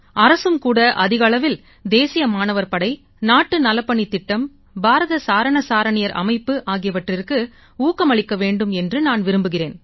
அரசும் கூட அதிக அளவில் தேசிய மாணவர் படை நாட்டு நலப்பணித் திட்டம் பாரத் சாரண சாரணியர் அமைப்பு ஆகியவற்றுக்கு ஊக்கம் அளிக்க வேண்டும் என்று நான் விரும்புகிறேன்